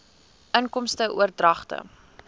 inkomste oordragte